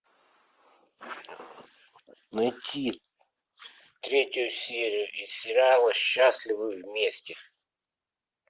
найти третью серию из сериала счастливы вместе